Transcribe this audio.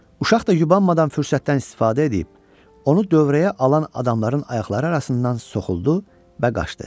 Uşaq da yubanmadan fürsətdən istifadə edib, onu dövrəyə alan adamların ayaqları arasından soxuldu və qaçdı.